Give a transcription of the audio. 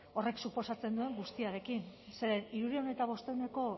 horrek suposatzen duen guztiarekin zeren hirurehun eta bostehuneko